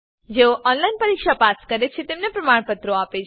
જેઓ ઓનલાઈન પરીક્ષા પાસ કરે છે તેઓને પ્રમાણપત્રો આપે છે